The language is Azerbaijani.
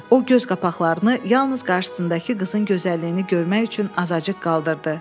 O göz qapaqlarını yalnız qarşısındakı qızın gözəlliyini görmək üçün azacıq qaldırdı.